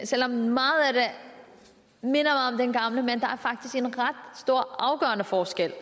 selv om meget af det minder om det gamle men der er faktisk en ret stor og afgørende forskel